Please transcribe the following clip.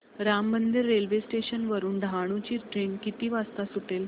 Ram Mandir railway station वरुन डहाणू ची train किती वाजता सुटेल